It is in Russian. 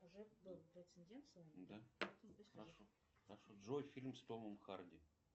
джой фильм с томом харди